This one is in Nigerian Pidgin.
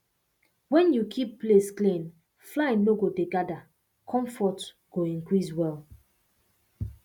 when you keep place clean fly no go dey gather comfort go increase well